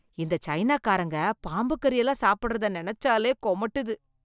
இந்த சைனா காரங்க பாம்பு கறி எல்லாம் சாப்பிடறத நெனச்சாலே கொமட்டுது